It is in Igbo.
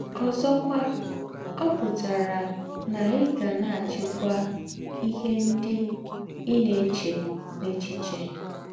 Ǒ̀zọ̀kwà, ọ̀ pụ̀tárà nà ì gà na - àchị́kwà ìhè ńdị ì na - èchē n’èchíchè.